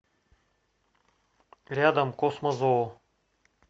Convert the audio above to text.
рядом космозоо